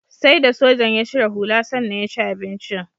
Sai da sojan ya cire hula sannan ya ci abincin.